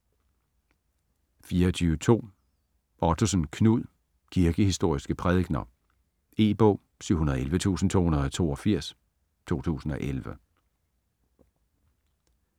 24.2 Ottosen, Knud: Kirkehistoriske prædikener E-bog 711282 2011.